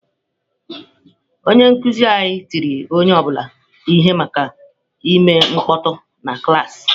Onye nkuzi anyị tiri onye ọ bụla ihe maka ime mkpọtụ na klaasị.